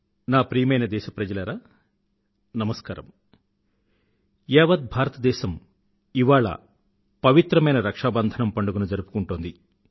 నా ప్రియమైన దేశ ప్రజలారా నమస్కారం యావత్ భారతదేశం ఇవాళ పవిత్రమైన రక్షాబంధనం పండుగను జరుపుకుంటోంది